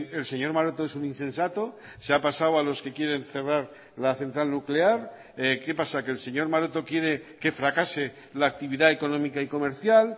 el señor maroto es un insensato se ha pasado a los que quieren cerrar la central nuclear qué pasa que el señor maroto quiere que fracase la actividad económica y comercial